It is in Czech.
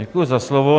Děkuji za slovo.